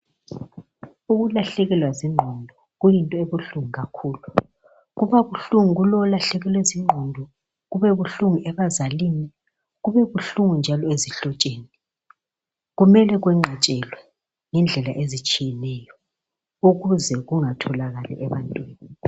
Ukulahlekelwa zingqondo kuyinto ebuhlungu kakhulu, kubabuhlungu kulowo olahlekelwe zingqondo, kubebuhlungu ebazalini, kubebuhlungu njalo ezihlotsheni, kumele kwenqatshelwe ngendlela ezitshiyeneyo ukuze kungatholakali ebantwini.